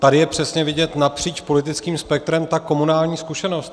Tady je přesně vidět napříč politickým spektrem ta komunální zkušenost.